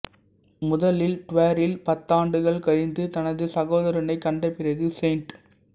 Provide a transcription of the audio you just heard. முதலில் ட்வேரில் பத்தாண்டுகள் கழிந்து தனது சகோதரனை கண்டபிறகு செயின்ட்